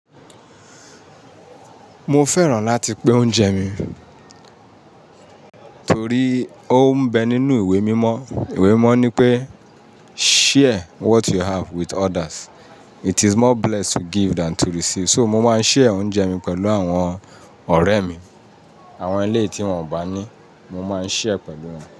Mo fẹ́ràn láti pín oúnjẹ mi torí ó ń bẹ nínú ìwé mímọ̀. Ìwé mímọ̀ ní pé "share what you have with others, it is more blessed to give than to receive". So mo máa ń share oúnjẹ mi pẹ̀lú àwọn ọ̀rẹ́ mi, àwọn eléèti wọn ò bá ní, mo máa ń share pẹ̀lú wọn.